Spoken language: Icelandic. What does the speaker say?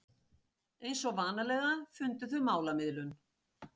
Eins og vanalega fundu þau málamiðlun.